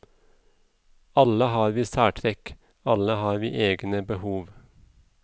Alle har vi særtrekk, alle har vi egne behov.